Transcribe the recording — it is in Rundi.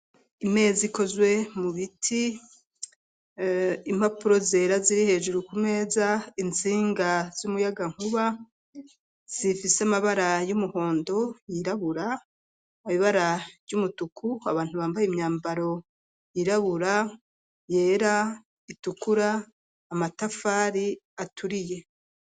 Imeza ikozwe mu biti, impapuro zera ziri hejuru ku meza, itsinga z'umuyaga nkuba zifise amabara y'umuhondo yirabura amabara y'umutuku, abantu bambaye imyambaro yirabura, yera, itukura, amatafari aturiye.